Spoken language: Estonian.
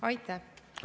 Aeg!